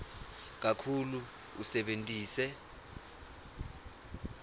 kakhulu usebentise